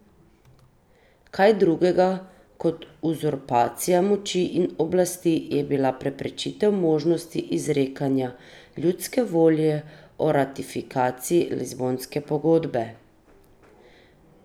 Kaj drugega kot uzurpacija moči in oblasti je bila preprečitev možnosti izrekanja ljudske volje o ratifikaciji Lizbonske pogodbe!